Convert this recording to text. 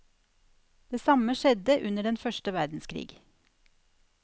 Det samme skjedde under den første verdenskrig.